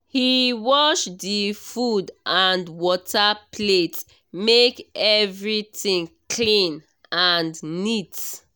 he wash the food and water plate make everything clean and neat